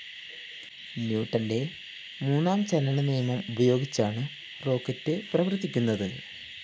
ന്യൂട്ടന്റെ മൂന്നാം ചലനനിയമം ഉപയോഗിച്ചാണ് റോക്കറ്റ്‌ പ്രവര്‍ത്തിക്കുന്നത്